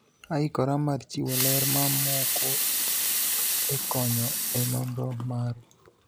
aikora mar chiwo ler mamoko e konyo e nonro maru